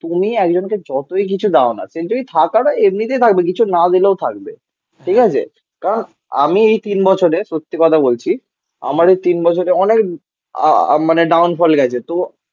তুমি একজনকে যতই কিছু দাও না কিন্তু সে থাকার হয় এমনিতেই থাকবে কিছু না দিলেও থাকবে. ঠিক আছে? কারণ আমি এই তিন বছরে সত্যি কথা বলছি. আমার এই তিন বছরে অনেক আহ মানে ডাউন ফল গেছে. তো